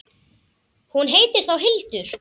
Hún heitir þá Hildur!